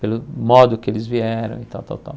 Pelo modo que eles vieram e tal, tal, tal.